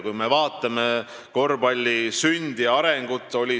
Vaatame kas või korvpalli sündi ja arengut.